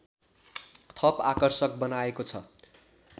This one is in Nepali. थप आकर्षक बनाएको छ